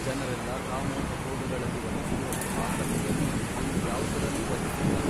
ಜನರೆಲ್ಲ ಕಾಮೋಪಭೋಗಗಳಲ್ಲಿ ವಹಿಸಿರುವಷ್ಟು ಆಸಕ್ತಿಯನ್ನು ಇನ್ನು ಯಾವುದರಲ್ಲೂ ವಹಿಸಿಲ್ಲ.